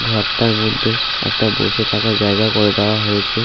ঘরটার মধ্যে একটা বসে থাকার জায়গা করে দেওয়া হয়েছে।